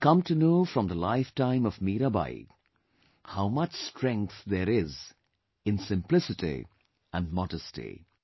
We come to know from the lifetime of Mirabai how much strength there is in simplicity and modesty